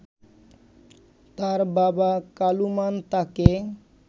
তার বাবা কালুমান তাকে